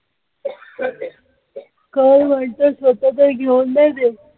काय म्हणतोस स्वतः तर घेऊन नाही देत.